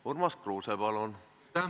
Urmas Kruuse, palun!